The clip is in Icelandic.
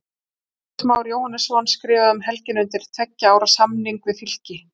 Andrés Már Jóhannesson skrifaði um helgina undir tveggja ára samning við Fylki.